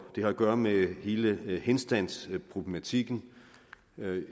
den har at gøre med hele henstandsproblematikken